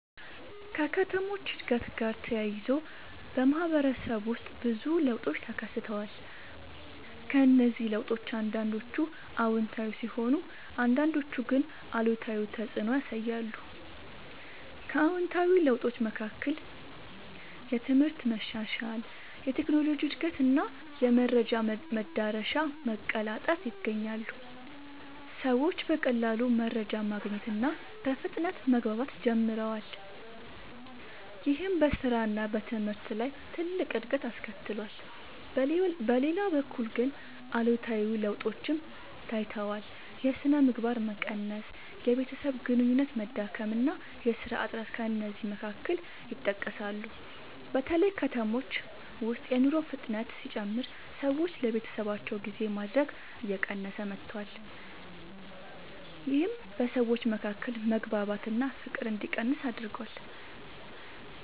ከከተሞች እድገት ጋር ተያይዞ በማህበረሰብ ውስጥ ብዙ ለውጦች ተከስተዋል። እነዚህ ለውጦች አንዳንዶቹ አዎንታዊ ሲሆኑ አንዳንዶቹ ግን አሉታዊ ተፅዕኖ ያሳያሉ። ከአዎንታዊ ለውጦች መካከል የትምህርት መሻሻል፣ የቴክኖሎጂ እድገት እና የመረጃ መዳረሻ መቀላጠፍ ይገኛሉ። ሰዎች በቀላሉ መረጃ ማግኘት እና በፍጥነት መግባባት ጀምረዋል። ይህም በስራ እና በትምህርት ላይ ትልቅ እድገት አስከትሏል። በሌላ በኩል ግን አሉታዊ ለውጦችም ታይተዋል። የሥነ ምግባር መቀነስ፣ የቤተሰብ ግንኙነት መዳከም እና የሥራ እጥረት ከእነዚህ መካከል ይጠቀሳሉ። በተለይ በከተሞች ውስጥ የኑሮ ፍጥነት ሲጨምር ሰዎች ለቤተሰባቸው ጊዜ ማድረግ እየቀነሰ መጥቷል። ይህም በሰዎች መካከል መግባባት እና ፍቅር እንዲቀንስ አድርጓል።